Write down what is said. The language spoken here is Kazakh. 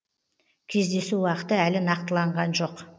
кездесу уақыты әлі нақтыланған жоқ